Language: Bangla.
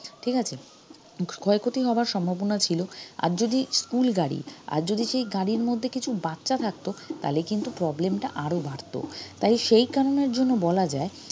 ঠিক আছে ক্ষয়ক্ষতি হবার সম্ভাবনা ছিল আর যদি school গাড়ি আর যদি সেই গাড়ির মধ্যে কিছু বাচ্চা থাকতো তাহলে কিন্তু problem টা আরো বাড়তো তাই সেই কারণের জন্য বলা যায়